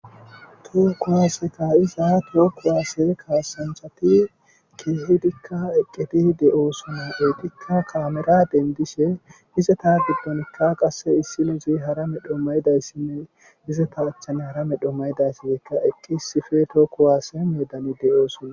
To kuwase ka'iza toho kuwase kasanchati keehid eqid de'osona .